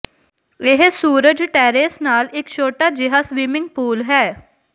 ਇਹ ਸੂਰਜ ਟੇਰੇਸ ਨਾਲ ਇੱਕ ਛੋਟਾ ਜਿਹਾ ਸਵਿਮਿੰਗ ਪੂਲ ਹੈ